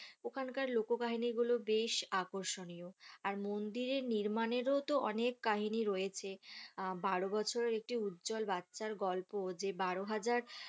ওখান কার লোকোকাহিনী গুলো বেশ আকর্ষণীয় আর মন্দির এর নির্মাণেরও তো অনেক কাহিনী রয়েছে আহ বারো বছরের একটি উজ্জ্বল বাচ্চার গল্প যে বারো হাজার